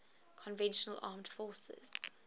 conventional armed forces